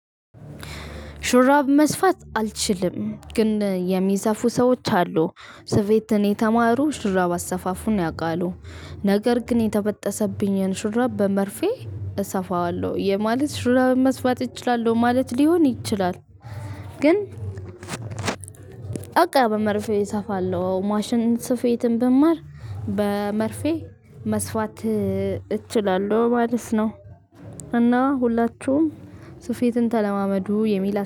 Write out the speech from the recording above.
ሹራብ መስፋት አልችልም ግን የሚሰፉ ሰዎች አሉ። ስፌትን የተማሩ ሽራብ አሰፋፉን ነው ያውቃሉ። ነገር ግን የተበጠሰብኝን ሹራብ በመርፌ እሰፋዋለሁ የማለት ሹራብን መስፋት እችላለሁ ማለት ሊሆን ይችላል። ግን። በቃ በመርፌ እሰፋለሁ ማሽን ስፌትም ብማር በመርፌ መስፋት እችላለሁ ማለት ነው። እና ሁላችሁም ስፌትን ተለማመዱ የሚል